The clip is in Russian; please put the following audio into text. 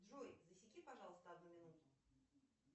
джой засеки пожалуйста одну минуту